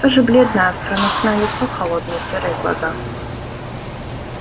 то же бледное остроносое лицо холодные серые глаза